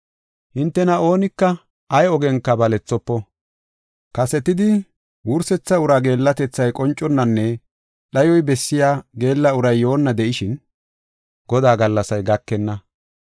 Hintena oonika ay ogenka balethofo. Kasetidi geellatethay qonconnanne dhayoy bessiya geella uray yoonna de7ishin, Godaa gallasay gakenna.